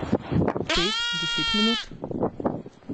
Pet, deset minut?